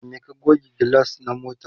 da me ka goge gilas na motar?